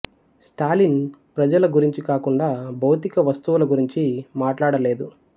స్టాలిన్ ప్రజల గురించి కాకుండా భౌతిక వస్తువుల గురించి మాట్లాడలేదు